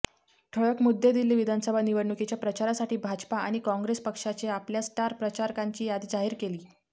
ठळक मुद्देदिल्ली विधानसभा निवडणुकीच्या प्रचारासाठी भाजपा आणि काँग्रेस पक्षाने आपल्या स्टार प्रचारकांची यादी जाहीर केली